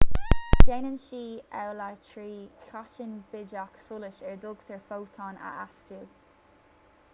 déanann siad amhlaidh trí cháithnín bídeach solais ar a dtugtar fótón a astú